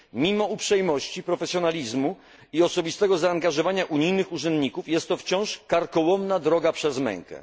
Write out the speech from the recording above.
Mimo uprzejmości, profesjonalizmu i osobistego zaangażowania unijnych urzędników, jest to wciąż karkołomna droga przez mękę.